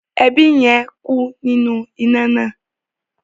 Ẹbí yẹn ku ninu ina naa.